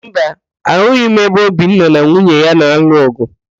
Mba, ahụghị m ebe Obinna na nwunye ya na-alụ ọ̀gụ̀